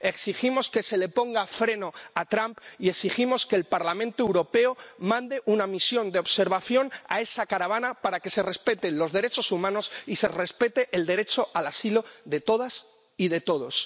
Exigimos que se le ponga freno a Trump y exigimos que el Parlamento Europeo mande una misión de observación a esa caravana para que se respeten los derechos humanos y se respete el derecho al asilo de todas y de todos.